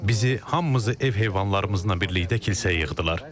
Bizi, hamımızı ev heyvanlarımızla birlikdə kilsəyə yığdılar.